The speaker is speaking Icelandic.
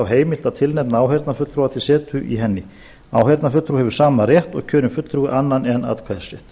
heimilt að tilnefna áheyrnarfulltrúa til setu í henni áheyrnarfulltrúi hefur sama rétt og kjörinn fulltrúi annan en atkvæðisrétt